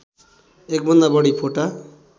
एकभन्दा बढी फोटा